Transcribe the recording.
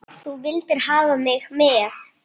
Þú vildir hafa mig með.